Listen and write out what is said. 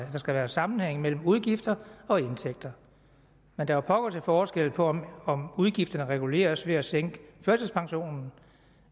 at der skal være sammenhæng mellem udgifter og indtægter men der er pokker til forskel på om udgifterne reguleres ved at sænke førtidspensionen